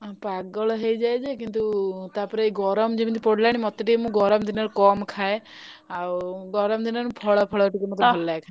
ଉଁ ପାଗଳ ହେଇଯାଏ ଯେ କିନ୍ତୁ ତାପରେ ଏଇ ଗରମ ଯେମିତି ପଡ଼ିଲାଣି ମତେ ଟିକେ ମୁଁ ଗରମ ଦିନରେ କମ ଖାଏ ଆଉ ଗରମ ଦିନରେ ଫଳ ଫଳ ଟିକେ ମତେ ଭଲଲାଗେ।